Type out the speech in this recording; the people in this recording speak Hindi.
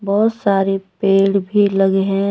बहुत सारे पेड़ भी लगे हैं।